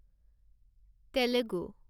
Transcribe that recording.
Telugu